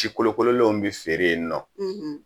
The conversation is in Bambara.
Sikolokololenw bɛ feere yen nɔ